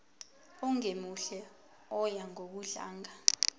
ongemuhle oya ngokudlanga